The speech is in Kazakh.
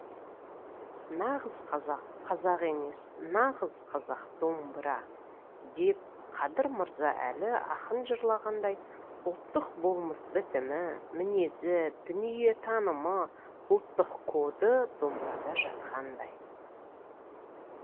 нағыз қазақ қазақ емес нағыз қазақ домбыра деп қадыр мырза әлі ақын жырлағандай ұлттық болмыс бітімі мінезі дүниетанымы ұлттық коды домбырада жатқандай